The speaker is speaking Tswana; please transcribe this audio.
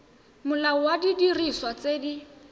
molao wa didiriswa tse di